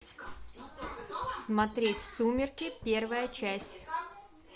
смотреть сумерки первая часть